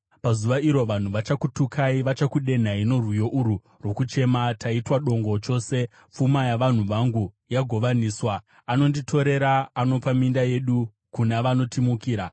Pazuva iro vanhu vachakutukai; vachakudenhai norwiyo urwu rwokuchema: ‘Taitwa dongo chose; pfuma yavanhu vangu yagovaniswa. Anonditorera! Anopa minda yedu kuna vanotimukira?’ ”